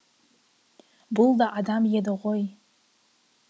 бұл да адам еді ғой